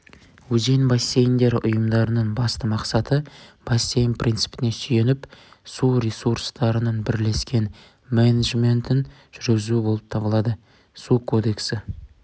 өзен бассейндері ұйымдарының басты мақсаты бассейн принципіне сүйеніп су ресурстарының бірлескен менеджментін жүргізу болып табылады су кодексі